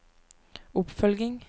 oppfølging